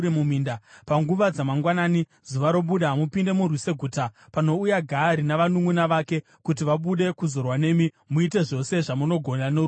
Panguva dzamangwanani, zuva robuda, mupinde murwise guta. Panouya Gaari navanhu vake kuti vabude kuzorwa nemi, muite zvose zvamunogona noruoko rwenyu.”